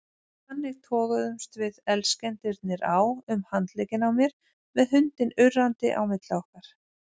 Þannig toguðumst við elskendurnir á um handlegginn á mér með hundinn urrandi á milli okkar.